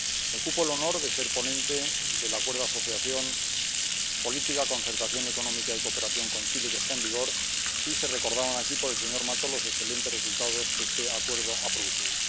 Me cupo el honor de ser ponente del Acuerdo de Asociación Política, Concertación Económica y Cooperación con Chile, que está en vigor, y recordaba aquí el señor Mato los excelentes resultados que este Acuerdo ha producido.